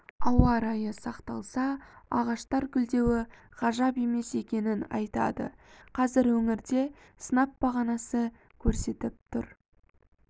ауа райы сақталса ағаштар гүлдеуі ғажап емес екенін айтады қазір өңірде сынап бағанасы көрсетіп тұр